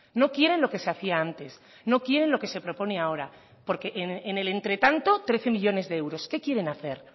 no quieren lo que se hacía antes no quieren lo que se propone ahora porque en el entretanto trece millónes de euros qué quieren hacer